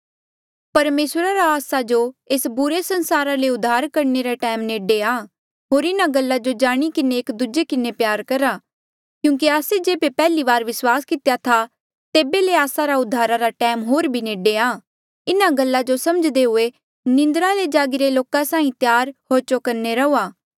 परमेसरा रा आस्सा जो एस बुरे संसारा ले उद्धार करणे रा टैम नेडे आ होर इन्हा गल्ला जो जाणी किन्हें एक दूजे किन्हें प्यार करहा क्यूंकि आस्से जेबे पैहली बारी विस्वास कितेया था तेबे ले आस्सा रा उद्धार रा टैम होर भी नेडे आ इन्हा गल्ला जो समझ्दे हुए निंद्रा ले जागिरे लोका साहीं त्यार होर चौकन्ने रहूआ